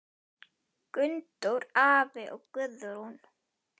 Gunndór afi og Guðrún.